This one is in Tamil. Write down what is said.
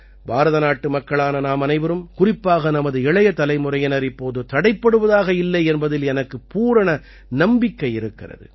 பாரத நாட்டுமக்களான நாமனைவரும் குறிப்பாக நமது இளைய தலைமுறையினர் இப்போது தடைப்படுவதாக இல்லை என்பதில் எனக்குப் பூரண நம்பிக்கை இருக்கிறது